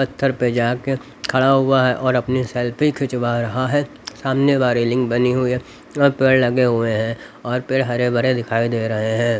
पत्थर पर जाके खड़ा हुआ है और अपनी सेल्फी खिंचवा रहा है सामने वारी लिंग बनी हुई है और पेड़ लगे हुए हैं और पेड़ हरे बरे दिखाई दे रहे हैं।